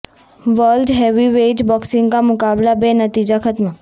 world heavyweight boxing کا مقابلہ بے نتیجہ ختم